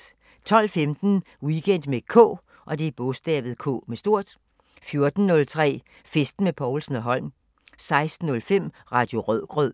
12:15: Weekend med K 14:03: Festen med Povlsen & Holm 16:05: Radio Rødgrød